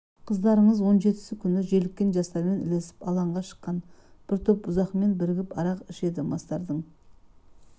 қыздарыңыз он жетісі күн желіккен жастармен ілесіп алаңға шыққан бір топ бұзақымен бірігіп арақ ішеді мастардың